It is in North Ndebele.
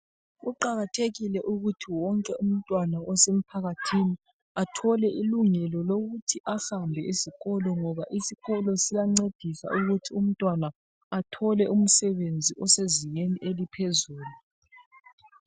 Kuqakathekile ukuthi wonke umntwana osemphakathini athole ilungelo lokuthi ahambe esikolo ngoba isikolo siyancedisa ukuthi umntwana athole umsebenzi osezingeni eliphuzulu.